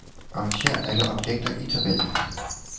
Arrangér alle objekter i tabellen.